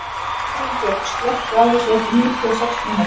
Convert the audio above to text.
Arinbjörg, slökktu á þessu eftir níutíu og sex mínútur.